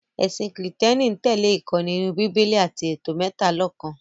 Ẹ̀sìn kìrììtẹ́nì ń tẹ̀lẹ́ ìkọ́ni inú Bíbélì àti ètò mẹ́talọ̀kan